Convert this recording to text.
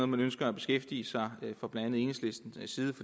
man ønsker at beskæftige sig med fra blandt andet enhedslistens side